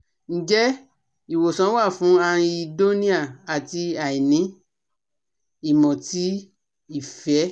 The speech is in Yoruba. Nje iwosan wa fun anhedonia ati aini imo ti ife?